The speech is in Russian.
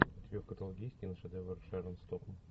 у тебя в каталоге есть киношедевр с шерон стоун